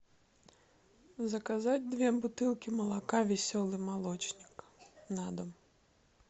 заказать две бутылки молока веселый молочник на дом